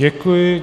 Děkuji.